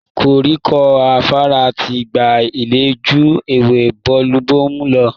koríko fàfà ti gbà ilẹ́ ju ewé Bomubómú lọ